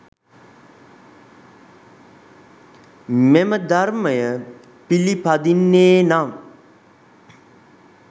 මෙම ධර්මය පිළිපදින්නේ නම්